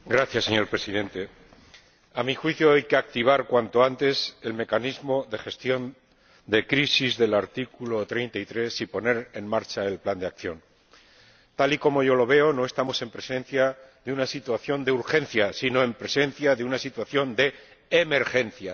Señor Presidente, a mi juicio hay que activar cuanto antes el mecanismo de gestión de crisis del artículo 33 y poner en marcha el plan de acción. Tal y como yo lo veo, no estamos en presencia de una situación de urgencia, sino en presencia de una situación de emergencia.